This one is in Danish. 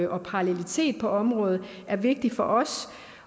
og parallelitet på området er vigtigt for os